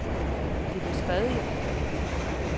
Det blev skrevet i rapporten.